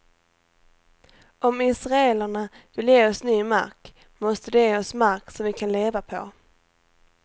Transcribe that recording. Om israelerna vill ge oss ny mark måste de ge oss mark som vi kan leva på.